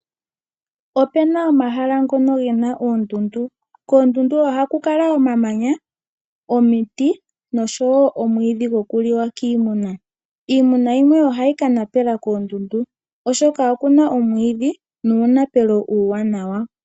Opuna omahala ngono ge na oondundu, koondundu oha ku kala omamanya, omiti oshowo omwiidhi gokuliwa kiimuna iimuna yimwe ohayi ka napela koondundu oshoka okuna omwiidhi nuunapelo uuwanawa.